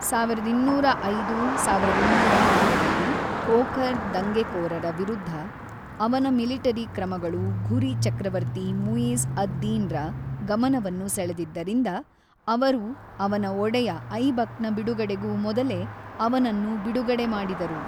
ಸಾವಿರದ ಇನ್ನೂರ ಐದು-ಸಾವಿರದ ಇನ್ನೂರ ಆರರಲ್ಲಿ ಖೋಖರ್ ದಂಗೆಕೋರರ ವಿರುದ್ಧ ಅವನ ಮಿಲಿಟರಿ ಕ್ರಮಗಳು ಘುರಿ ಚಕ್ರವರ್ತಿ ಮುಯಿಜ಼್ ಅದ್-ದಿನ್‌ರ ಗಮನವನ್ನು ಸೆಳೆದಿದ್ದರಿಂದ, ಅವರು ಅವನ ಒಡೆಯ ಐಬಕ್‌ನ ಬಿಡುಗಡೆಗೂ ಮೊದಲೇ ಅವನನ್ನು ಬಿಡುಗಡೆಮಾಡಿದರು.